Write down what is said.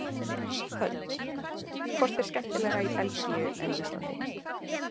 Hödd: Hvort er skemmtilegra í Belgíu en á Íslandi?